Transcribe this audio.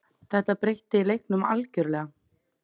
Þetta breytti leiknum algjörlega.